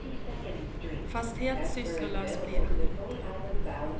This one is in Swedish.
Fast helt sysslolös blir han inte.